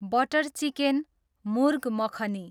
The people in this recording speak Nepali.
butter chicken, murgh makhani